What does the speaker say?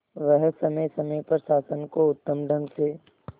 वह समय समय पर शासन को उत्तम ढंग से